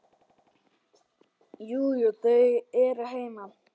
Jú, jú. þau eru heima.